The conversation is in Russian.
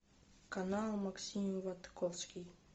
канал максим ватковский